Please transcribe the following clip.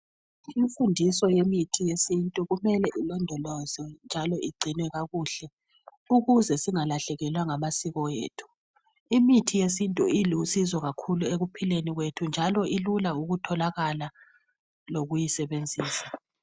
Imfundiso yemithi yesintu kumele ilondolozwe njalo igcinwe kakuhle ukuze singalahlekelwa ngamasiko ethu. Imithi yesintu ilusizo kakhulu ekuphileni kwethu njalo ilula ukutholakala lokuyisebenza.